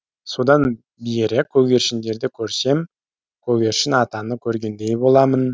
содан бері көгершіндерді көрсем көгершін атаны көргендей боламын